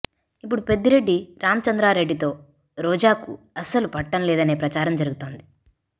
ఇప్పుడు పెద్దిరెడ్డి రాంచంద్రారెడ్డితో రోజాకు అస్సలు పడటం లేదనే ప్రచారం జరుగుతోంది